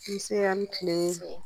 Nse a' ni tile